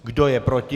Kdo je proti?